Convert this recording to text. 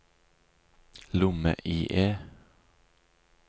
lomme-IE